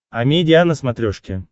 амедиа на смотрешке